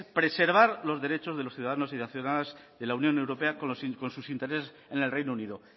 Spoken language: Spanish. preservar los derechos de los ciudadanos y las ciudadanas de la unión europea con sus intereses en el reino unido